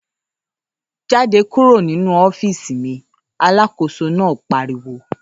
‘Jáde kúrò nínú ó̩fíìsì mi!’ alákóso náà pariwo